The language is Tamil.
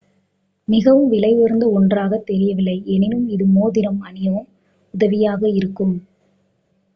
மிகவும் விலையுயர்ந்த ஒன்றாக தெரியவில்லை எனினும் இது மோதிரம் அணியவும் உதவியாக இருக்கும்